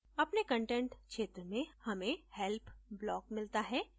अपने content क्षेत्र में हमें help block मिलता है